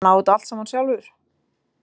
Hann á þetta allt saman sjálfur.